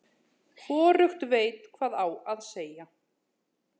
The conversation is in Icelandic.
Hvorugt veit hvað á að segja.